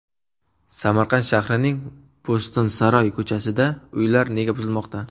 Samarqand shahrining Bo‘stonsaroy ko‘chasida uylar nega buzilmoqda?.